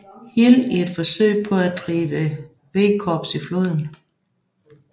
Hill i et forsøg på at drive V Korps i floden